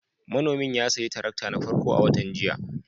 Manomin ya sayi tarakta na farko a watan jiya